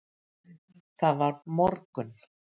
Það var morgunn.